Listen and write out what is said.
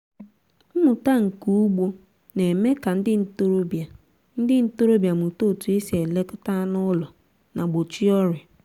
mmụta nka ugbo na-eme ka ndị ntorobịa ndị ntorobịa mụta otú e si elekọta anụ ụlọ na gbochie ọrịa